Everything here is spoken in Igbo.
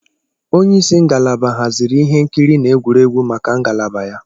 Onye isi ngalaba haziri ịhe nkiri na egwuregwu maka ngalaba ya.